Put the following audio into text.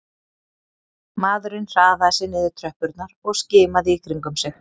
Maðurinn hraðaði sér niður tröppurnar og skimaði í kringum sig